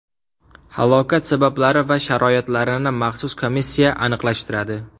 Halokat sabablari va sharoitlarini maxsus komissiya aniqlashtiradi.